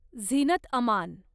Zeenat Aman